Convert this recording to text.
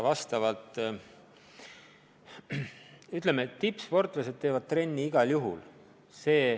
Tippsportlased teevad trenni igal juhul.